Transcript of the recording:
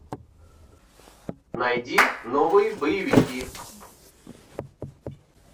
найди новые боевики